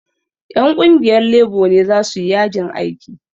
Ƴan ƙungiyar lebo ne za su yi yajin aiki